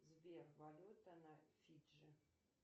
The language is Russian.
сбер валюта на фиджи